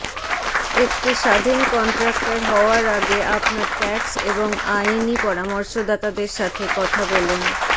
একটি স্বাধীন কন্ট্রাক্টর হওয়ার আগে আপনার ট্যাক্স এবং আইনি পরামর্শদাতাদের সাথে কথা বলুন